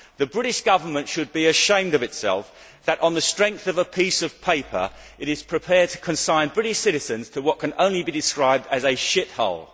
The British Government should be ashamed of itself that, on the strength of a piece of paper, it is prepared to consign British citizens to what can only be described as a shithole.